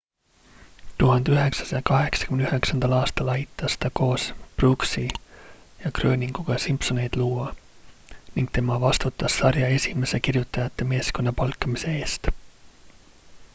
1989 aastal aitas ta koos brooksi ja groeninguga simpsoneid luua ning tema vastutas sarja esimese kirjutajate meeskonna palkamise eest